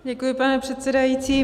Děkuji, pane předsedající.